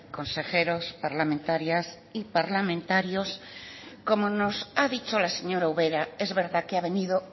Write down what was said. consejeros parlamentarias y parlamentarios como nos ha dicho la señora ubera es verdad que ha venido